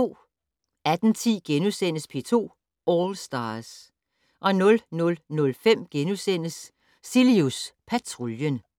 18:10: P2 All Stars * 00:05: Cilius Patruljen *